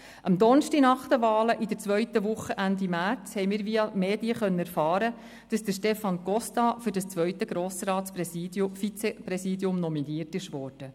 Am Donnerstag der zweiten Woche nach den Wahlen, Ende März, haben wir via Medien erfahren, dass Stefan Costa für das zweite Grossratsvizepräsidium nominiert wurde.